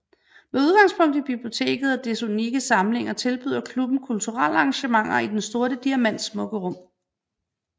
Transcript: Med udgangspunkt i biblioteket og dets unikke samlinger tilbyder klubben kulturelle arrangementer i Den Sorte Diamants smukke rum